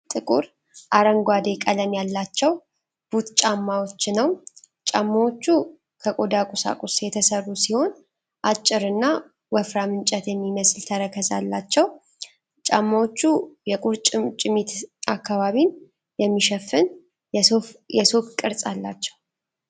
ጥቁር አረንጓዴ ቀለም ያላቸው ቡት ጫማዎች ነው። ጫማዎቹ ከቆዳ ቁሳቁስ የተሠሩ ሲሆን ፣ አጭርና ወፍራም እንጨት የሚመስል ተረከዝ አላቸው ። ጫማዎቹ የቁርጭምጭሚት አካባቢን የሚሸፍን የሶክ ቅርጽ አላቸው።